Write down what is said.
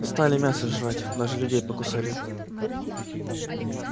стали мясо жрать даже людей покусали